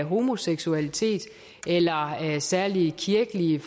homoseksualitet eller særlige kirkelige